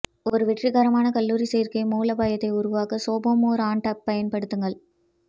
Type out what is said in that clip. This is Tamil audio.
ஒரு வெற்றிகரமான கல்லூரி சேர்க்கை மூலோபாயத்தை உருவாக்க சோபோமோர் ஆண்டைப் பயன்படுத்துங்கள்